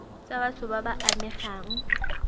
tsa batho ba ba amegang